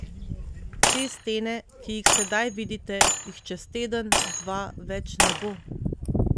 Te stene, ki jih sedaj vidite, jih čez teden, dva, več ne bo.